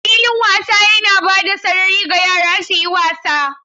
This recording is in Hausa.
Filin wasa yana ba da sarari ga yara su yi wasa.